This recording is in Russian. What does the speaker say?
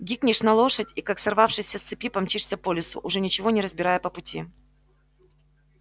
гикнешь на лошадь и как сорвавшийся с цепи помчишься по лесу уже ничего не разбирая по пути